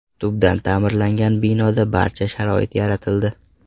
Tubdan ta’mirlangan binoda barcha sharoit yaratildi.